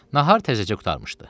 Nahar təzəcə qurtarmışdı.